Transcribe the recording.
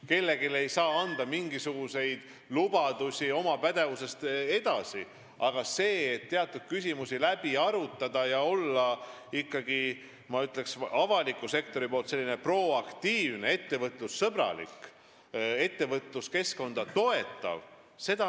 Kellelegi ei saa anda mingisuguseid lubadusi väljaspool oma pädevust, aga ma pean kindlasti oluliseks teatud küsimuste läbiarutamist ja seda, et avalik sektor on ikkagi proaktiivne, ettevõtlussõbralik, ettevõtluskeskkonda toetav.